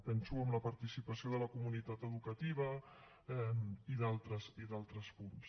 penso en la participació de la comunitat educativa i d’altres punts